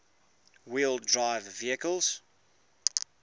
wheel drive vehicles